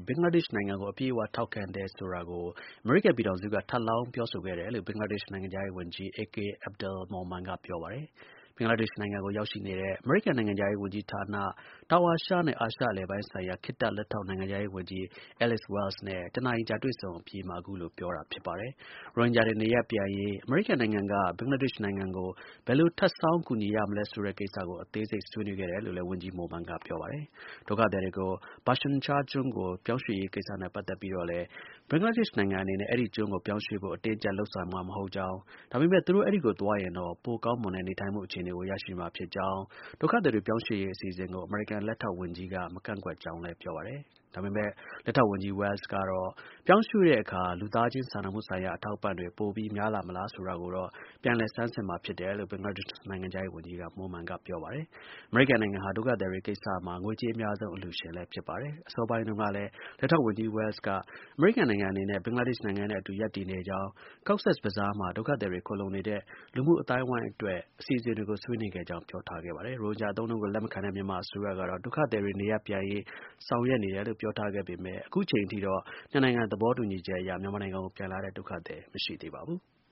ဘင်္ဂလားဒေ့ရှ်နိုင်ငံကို အပြည့်အ၀ ထောက်ခံတယ်ဆိုတာကို ထပ်လောင်း ပြောဆိုခဲ့တယ်လို့ ဘင်္ဂလားဒေ့ရှ် နိုင်ငံခြားရေးဝန်ကြီး AK Abdul Momen က ပြောပါတယ်။ ဘင်္ဂလားဒေ့ရှ်နိုင်ငံကို ရောက်ရှိနေတဲ့ အမေရိကန် နိုင်ငံခြားရေးဝန်ကြီးဌာန၊ တောင်အာရှနဲ့ အာရှအလယ်ပိုင်းဆိုင်ရာ ခေတ္တ လက်ထောက်နိုင်ငံခြားရေးဝန်ကြီး Alice Wells နဲ့ ၁ နာရီကြာ တွေ့ဆုံဆွေးနွေးအပြီးမှာ အခုလို ပြောတာဖြစ်ပါတယ်။ ရိုဟင်ဂျာတွေ နေရပ်ပြန်ရေး အမေရိကန်နိုင်ငံက ဘင်္ဂလားဒေ့ရှ်နိုင်ငံကို ဘယ်လို ထပ်ဆောင်း ကူညီရမလဲဆိုတဲ့ကိစ္စကို အသေးစိတ် ဆွေးနွေးခဲ့တယ်လို့လည်း ဝန်ကြီး Momen က ပြောပါတယ်။ ဒုက္ခသည်တွေကို Bhashan Char ကျွန်းကို ပြောင်းရွှေ့ရေးကိစ္စနဲ့ ပတ်သက်ပြီးတော့လည်း ဘင်္ဂလားဒေ့ရှ်နိုင်ငံအနေနဲ့ အဲဒီကျွန်းကိုပြောင်းရွှေ့ဖို့ အတင်းအကျပ် လုပ်ဆောင်မှာ မဟုတ်ကြောင်း၊ ဒါပေမဲ့ သူတို့ အဲဒီကိုသွားရင်တော့ ပိုကောင်းမွန်တဲ့ နေထိုင်မှုအခြေအနေကို ရရှိမှာ ဖြစ်ကြောင်းလည်း ပြောပါတယ်။ ဒုက္ခသည်တွေ ပြောင်းရွှေ့ရေးအစီအစဉ်ကို အမေရိကန် လက်ထောက်ဝန်ကြီးက မကန့်ကွက် ဘူးလို့လည်း ဆိုပါတယ်။ ဒါပေမဲ့ လက်ထောက်ဝန်ကြီး Wells ကတော့ ပြောင်းရွှေ့တဲ့အခါ လူသားချင်းစာနာမှုဆိုင်ရာ အထောက်အပံ့တွေ ပိုပြီး များလာမလား ဆိုတာကိုတော့ ပြန်လည် ဆန်းစစ်မှာဖြစ်တယ်လို့ ဘင်္ဂလားဒေ့ရှ်နိုင်ငံခြားရေးဝန်ကြီး Momen ကို ပြောပါတယ်။ အမေရိကန်နိုင်ငံဟာ ဒုက္ခသည်တွေကိစ္စမှာ ငွေကြေးအများဆုံး အလှူရှင်လည်း ဖြစ်ပါတယ်။ အစောပိုင်းတုန်းကလည်း လက်ထောက်ဝန်ကြီး Wells က အမေရိကန်နိုင်ငံအနေနဲ့ ဘင်္ဂလားဒေ့ရှ်နိုင်ငံနဲ့အတူ ရပ်တည်နေကြောင်း၊ Cox’s Bazar မှာ ဒုက္ခသည်တွေ ခိုလှုံနေတဲ့ လူမှုအဝန်းအဝိုင်းအတွက် အစီအစဉ်တွေကို ဆွေးနွေးခဲ့ကြောင်း ပြောကြားထားပါတယ်။ ရိုဟင်ဂျာ အသုံးအနှုန်းကို လက်မခံတဲ့ မြန်မာအစိုးရကတော့ ဒုက္ခသည်တွေ နေရပ်ပြန်ရေး ဆောင်ရွက်နေတယ်လို့ ပြောထားပါတယ်။ အခုအချိန်အထိတော့ နှစ်နိုင်ငံ သဘောတူညီချက် အရ မြန်မာနိုင်ငံကိုပြန်လာတဲ့ ဒုက္ခသည် မရှိသေးပါဘူး။